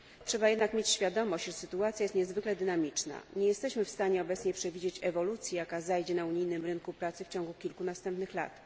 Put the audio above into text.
Trzeba jednak mieć świadomość, że sytuacja jest niezwykle dynamiczna. Nie jesteśmy w stanie obecnie przewidzieć ewolucji, jaka zajdzie na unijnym rynku pracy w ciągu następnych kilku lat.